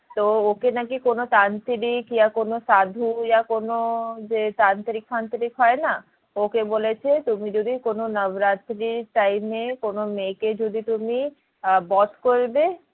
তো ওকে নাকি কোনো তান্ত্রিক ইয়া কোনো সাধু ইয়া কোনো যে তান্ত্রিক ফ্যান্ত্রিক হয় না ওকে বলেছে তুমি যদি কোনো নবরাত্রির time এ কোনো মেয়ে কে যদি তুমি আহ বধ করবে